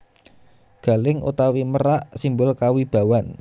Galing utawi merak simbol kawibawan